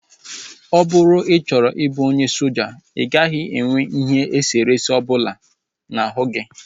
Ọ bụrụ na ị chọrọ ịbụ onye soja, ị gaghị enwe ihe eserese ọbụla n'ahụ gi